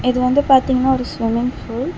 இது வந்து பாத்தீங்னா ஒரு ஸ்விம்மிங் பூல் .